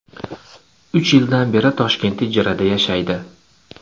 Uch yildan beri Toshkentda ijara yashaydi.